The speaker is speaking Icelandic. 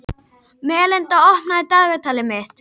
Melinda, opnaðu dagatalið mitt.